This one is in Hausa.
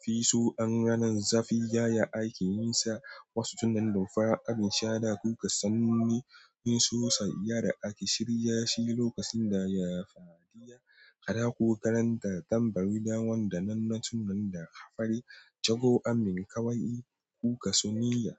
Fi so wannan zafi, yaya ake yin sa? Wasu tunnan dumfarar abin sha da kuka sani, shin suna iya da ake shirya shi lokacin da yafadiya? Kada ku karanta tambari da wanda nan na sunan da aka fara jagoramin kawai kuka sani ya.